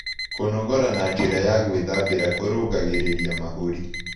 Kũnogora na njĩra ya gwĩthambĩra kũrũngagĩrĩrĩa mahũrĩ